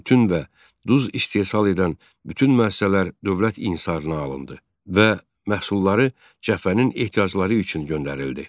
Tütün və duz istehsal edən bütün müəssisələr dövlət inhisarına alındı və məhsulları cəbhənin ehtiyacları üçün göndərildi.